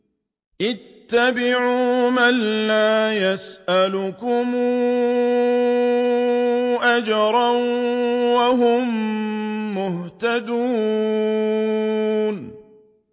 اتَّبِعُوا مَن لَّا يَسْأَلُكُمْ أَجْرًا وَهُم مُّهْتَدُونَ